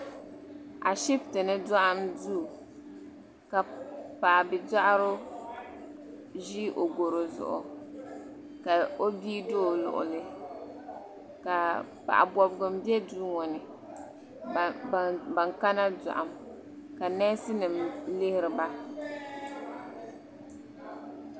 Ashiptini doɣam duu ka paɣa bia doɣaro ʒi goro zuɣu ka o bia do o luɣuli ka paɣa bobgu m be duu ŋɔ ni ka ban kana doɣam ka neesi nima lihiri ba.